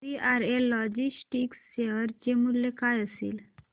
VRL logistics share चे मूल्य काय असेल